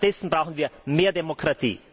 Stattdessen brauchen wir mehr Demokratie! BRK